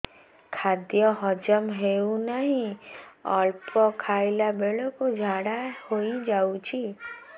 ଖାଦ୍ୟ ହଜମ ହେଉ ନାହିଁ ଅଳ୍ପ ଖାଇଲା ବେଳକୁ ଝାଡ଼ା ହୋଇଯାଉଛି